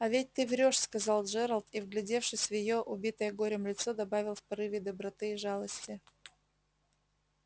а ведь ты врёшь сказал джералд и вглядевшись в её убитое горем лицо добавил в порыве доброты и жалости